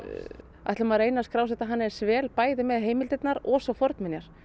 ætlum að reyna að skrásetja hana eins vel bæði með heimildirnar og svo fornminjar